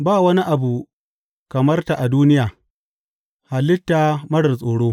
Ba wani abu kamar ta a duniya, halitta marar tsoro.